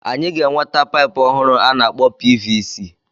Anyị ga-enweta paịpu ọhụrụ a na-akpọ PVC.